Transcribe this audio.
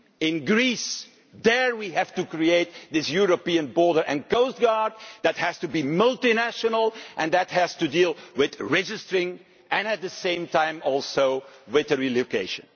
In Greece, there we have to create this European border and coastguard that has to be multinational and that has to deal with registration and at the same time with relocation.